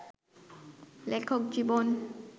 লেখক জীবন